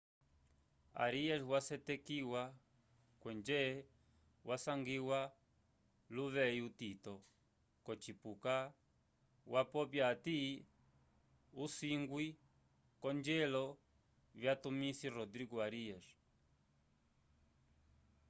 arias wasetekiwa kwenje wasangiwa luveyi utito wocipuka wapopya hati usingwi wakongelo vyatumisi rodrigo arias